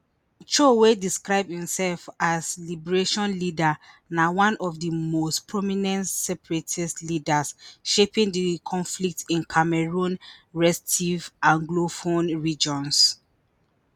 cho wey describe imsef as liberation leader na one of di most prominent separatist leaders shaping di conflict in cameroon restive anglophone regions